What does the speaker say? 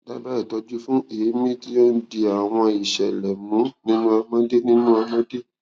dábàá ìtọjú fún èémí tí ó ń di àwọn ìṣẹlẹ mú nínú ọmọdé nínú ọmọdé